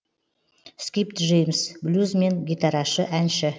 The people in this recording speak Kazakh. скип джеймс блюзмен гитарашы әнші